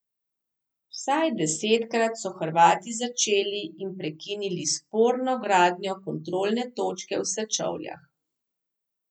Vsaj desetkrat so Hrvati začeli in prekinili sporno gradnjo kontrolne točke v Sečovljah.